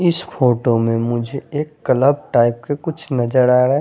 इस फोटो में मुझे एक कलब टाइप का कुछ नज़र आरा--